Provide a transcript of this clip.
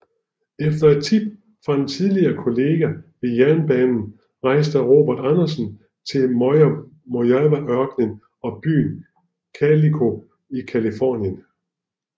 Efter et tip fra en tidligere kollega ved jernbanen rejste Robert Andersen til Mojaveørkenen og byen Calico i Californien